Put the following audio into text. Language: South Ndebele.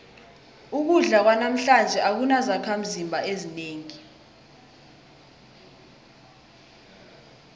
ukudla kwanamhlanje akunazakhimzimba ezinengi